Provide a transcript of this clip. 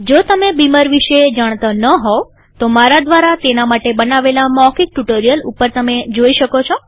જો તમે બીમર વિશે જાણતા ન હોવ તો મારા દ્વારા તેના માટે બનાવેલા મૌખિક ટ્યુ્ટોરીઅલ ઉપર તમે જોઈ શકો છો